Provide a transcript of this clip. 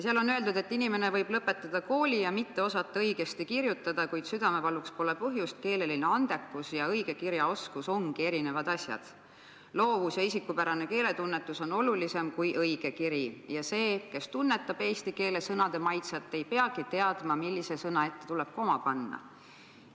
Seal on öeldud, et inimene võib lõpetada kooli ja mitte osata õigesti kirjutada, kuid südamevaluks pole põhjust, keeleline andekus ja õigekirjaoskus ongi erinevad asjad, loovus ja isikupärane keeletunnetus on olulisem kui õigekiri ja see, kes tunnetab eesti keele sõnade maitset, ei peagi teadma, millise sõna ette koma tuleb panna.